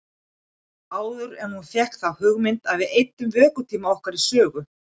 Það var áður en hún fékk þá hugmynd að við eyddum vökutíma okkar í sögu.